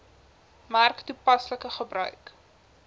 merk toepaslike gebruik